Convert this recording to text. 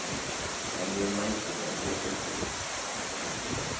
En ég mæti með opinn huga